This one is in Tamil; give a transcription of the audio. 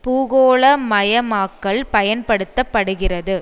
பூகோளமயமாக்கல் பயன்படுத்த படுகிறது